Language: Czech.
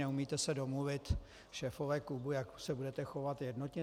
Neumíte se domluvit, šéfové klubů, jak se budete chovat jednotně.